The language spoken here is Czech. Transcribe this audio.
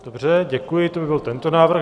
Dobře, děkuji, to by byl tento návrh.